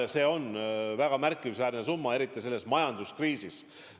Ja see on väga märkimisväärne summa, eriti selles majanduskriisis.